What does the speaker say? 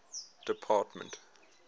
department